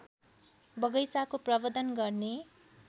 बगैंचाको प्रवर्द्धन गर्ने